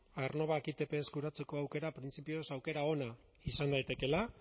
aernnovak ipt eskuratzeko aukera printzipioz aukera ona izan daitekeela